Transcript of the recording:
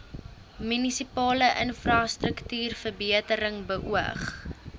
munisipale infrastruktuurverbetering beoog